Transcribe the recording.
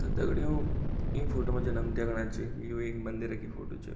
त दगड़ियों ई फोटो मा जन हम दिखणा च की यु एक मंदिरा की फोटो च।